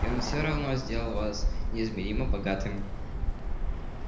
и он всё равно сделал вас неизмеримо богатым